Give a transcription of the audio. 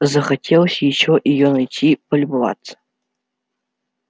захотелось ещё её найти полюбоваться